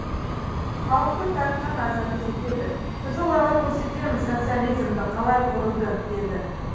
халықтың тартқан азабы жетеді біз оларға көрсетеміз социализмді қалай құруды деді